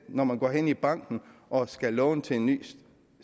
når man går hen i banken og skal låne til en ny